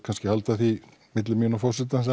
kannski halda því milli mín og forsetans